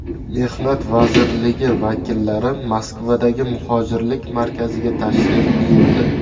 Mehnat vazirligi vakillari Moskvadagi muhojirlik markaziga tashrif buyurdi.